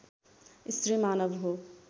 स्त्री मानव हो